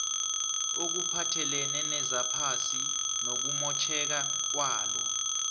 okuphathelene nezephasi nokumotjheka kwalo